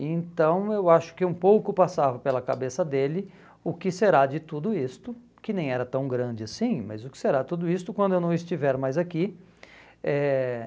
Então eu acho que um pouco passava pela cabeça dele o que será de tudo isto, que nem era tão grande assim, mas o que será de tudo isto quando eu não estiver mais aqui. Eh